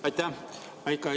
Aitäh!